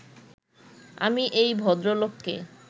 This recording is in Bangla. আমি এই ভদ্রলোককে